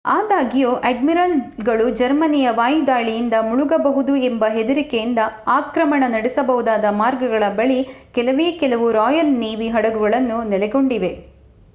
ಆದಾಗ್ಯೂ ಅಡ್ಮಿರಲ್‌ಗಳು ಜರ್ಮನಿಯ ವಾಯುದಾಳಿಯಿಂದ ಮುಳುಗಬಹುದು ಎಂಬ ಹೆದರಿಕೆಯಿಂದ ಆಕ್ರಮಣ ನಡೆಸಬಹುದಾದ ಮಾರ್ಗಗಳ ಬಳಿ ಕೆಲವೇ ಕೆಲವು ರಾಯಲ್ ನೇವಿ ಹಡಗುಗಳು ನೆಲೆಗೊಂಡಿವೆ